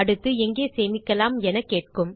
அடுத்து எங்கே சேமிக்கலாம் எனக் கேட்கும்